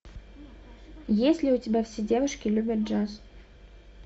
есть ли у тебя все девушки любят джаз